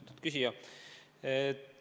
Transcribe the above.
Austatud küsija!